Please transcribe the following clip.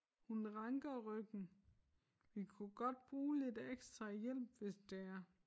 Hun ranker ryggen vi kunne godt bruge lidt ekstra hjælp hvis det er